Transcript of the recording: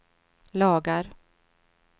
lagar